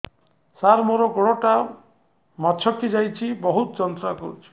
ସାର ମୋର ଗୋଡ ଟା ମଛକି ଯାଇଛି ବହୁତ ଯନ୍ତ୍ରଣା କରୁଛି